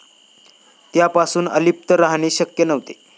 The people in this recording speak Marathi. त्यापासून अलिप्त राहणे शक्य नव्हते.